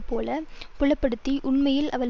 போல புலப்படுத்தி உண்மையில் அவன்